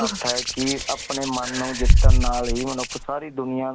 earth ਆਯ ਕੀ ਅਪਨੇ ਮਨ ਨੂ ਜਿੱਤਣ ਨਾਲ ਹੀ ਮਨੁੱਖ ਸਾਰੀ ਦੁਨਿਆ